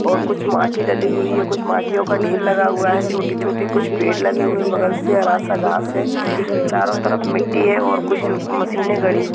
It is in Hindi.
और कुछ माटी डली हुई है कुछ माटीयो का ढेर लगा हुआ है छोटे-छोटे कुछ पेड़ लगे हुए बगल से हरा सा घास है चारो तरफ मिटी है और कुछ मशीने गाड़ी हुई --